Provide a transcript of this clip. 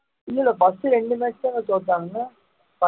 இல்லை இல்லை first இரண்டு match தான தோத்தாங்க